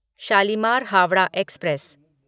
Shalimar Howrah express